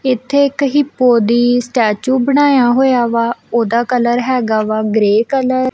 ਇੱਥੇ ਇੱਕ ਇਹ ਬੋਡੀ ਸਟੇਚੂ ਬਣਾਇਆ ਹੋਏ ਆ ਵਾ ਓਹਦਾ ਕਲਰ ਹੈਗਾ ਵਾ ਗਰੇ ਕਲਰ ।